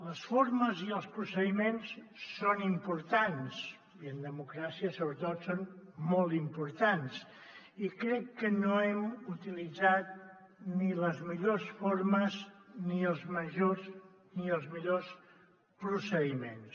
les formes i els procediments són importants i en democràcia sobretot són molt importants i crec que no hem utilitzat ni les millors formes ni els majors ni els millors procediments